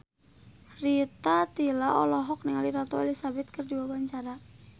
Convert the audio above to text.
Rita Tila olohok ningali Ratu Elizabeth keur diwawancara